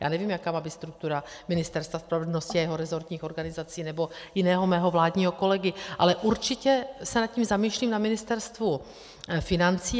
Já nevím, jaká má být struktura Ministerstva spravedlnosti a jeho rezortních organizací nebo jiného mého vládního kolegy, ale určitě se nad tím zamýšlím na Ministerstvu financí.